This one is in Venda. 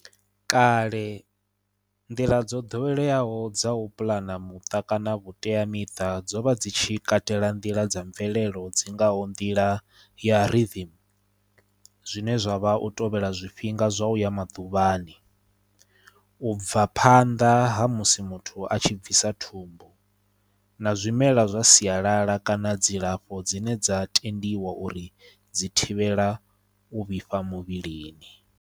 Kale nḓila dzo ḓoweleaho dza u puḽana muṱa kana vhuteamiṱa dzo vha dzi tshi katela nḓila dza mvelelo dzi ngaho nḓila ya rhythm zwine zwavha u tovhela zwifhinga zwa u ya maḓuvhani u bva phanḓa ha musi muthu a tshi bvisa thumbu na zwimela zwa sialala kana dzilafho dzine dza tendiwa uri dzi thivhela u vhifha muvhilini.